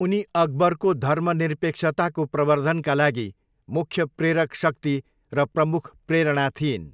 उनी अकबरको धर्मनिरपेक्षताको प्रवर्द्धनका लागि मुख्य प्ररेक शक्ति र प्रमुख प्रेरणा थिइन्।